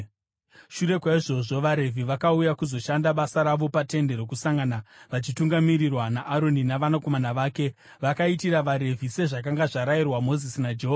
Shure kwaizvozvo, vaRevhi vakauya kuzoshanda basa ravo paTende Rokusangana vachitungamirirwa naAroni navanakomana vake. Vakaitira vaRevhi sezvakanga zvarayirwa Mozisi naJehovha.